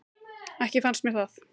Ekki fannst mér það.